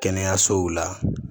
Kɛnɛyasow la